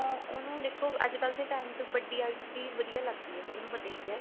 ਉਹਨੂੰ ਦੇਖੋ ਅੱਜਕਲ ਦੇ time ਚ ਵੱਡੀ eyes ਈ ਵਧੀਆ ਲੱਗਦੀ ਏ ਸਭ ਨੂੰ ਪਤਾ ਹੀ ਏ